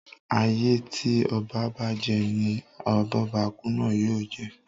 Ayé tí oba bá je ni abóbakú náà yóò je.